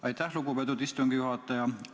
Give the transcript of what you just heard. Aitäh, lugupeetud istungi juhataja!